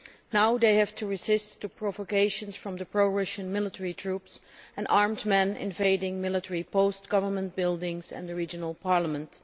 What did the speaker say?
Now they have to resist provocations from the pro Russian troops and armed men invading military posts, government buildings and the regional parliament.